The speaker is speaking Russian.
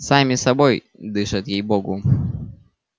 сами собой дышат ей богу